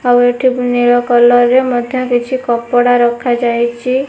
ଆଉ ଏଠି ନୀଳ କଲର ରେ ମଧ୍ୟ କିଛି କପଡା ରଖାଯାଇଚି।